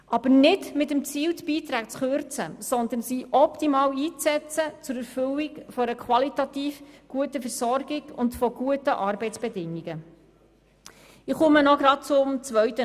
Dies darf aber nicht mit dem Ziel verbunden sein, die Beiträge zu kürzen, sondern diese sollen zur Erfüllung einer qualitativ guten Versorgung und von guten Arbeitsbedingungen optimal eingesetzt werden.